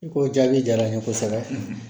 I ko jaabi jara n ye kosɛbɛ